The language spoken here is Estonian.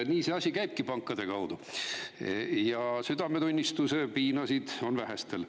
Nii see asi käibki, pankade kaudu, ja südametunnistuse piinasid on vähestel.